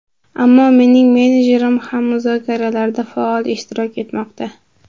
Ammo mening menejerim ham muzokaralarda faol ishtirok etmoqda.